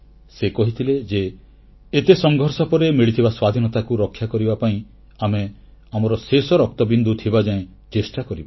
ସେ କହିଥିଲେ ଏତେ ସଂଘର୍ଷ ପରେ ମିଳିଥିବା ସ୍ୱାଧୀନତାକୁ ରକ୍ଷା କରିବା ପାଇଁ ଆମେ ଆମର ଶେଷ ରକ୍ତବିନ୍ଦୁ ଥିବାଯାଏ ଚେଷ୍ଟା କରିବା